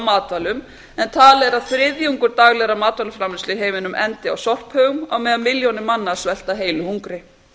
matvælum en talið er að þriðjungur daglegrar matvælaframleiðslu endi á sorphaugum á meðan milljónir manna svelta heilu hungri